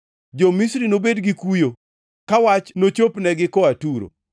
Jo-Misri nobed gi kuyo ka wach nochopnegi koa Turo.